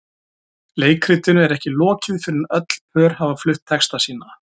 Leikritinu er ekki lokið fyrr en öll pör hafa flutt texta sína.